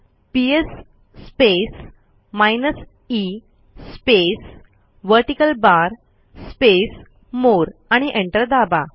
PS space minus E space vertical bar space more आणि enter दाबा